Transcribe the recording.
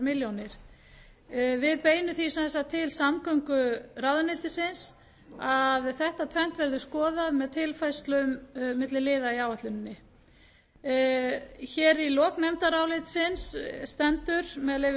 milljónir króna á beinum sem sagt því til samgönguráðuneytisins að þetta tvennt verði skoðað með tilfærslum milli liða í áætluninni hér í lok nefndarálitsins stendur með